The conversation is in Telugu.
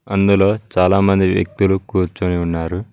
అందులో చాలామంది వ్యక్తులు కూర్చుని ఉన్నారు.